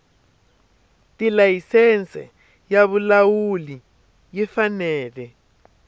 tilayisense ya vulawuli yi fanele